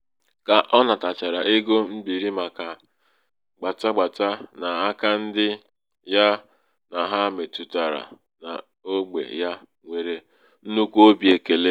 ka ọ nàtàchàrà ego mbìri màkà gbàta gbàta n’aka ndi̩ ya nà ha mètụ̀tàrà n’ogbè ya nwèrè nnukwu obi èkèle.